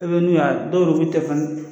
E n'u y'a dɔw u tɛ